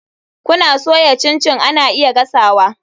Kuna soya chin chin ana iya gasa.